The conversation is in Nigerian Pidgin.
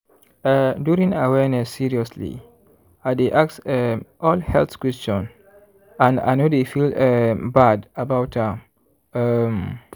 eh during awareness seriously i dey ask um all health question and i no dey feel um bad about am. um